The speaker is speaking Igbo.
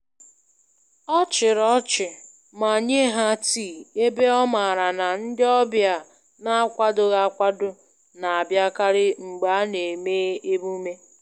Ọ chịrị ọchị, ma nyé ha tii, ebe ọ maara na ndị ọbịa n'akwadoghị akwado na -abịakarị mgbe a na-eme emume.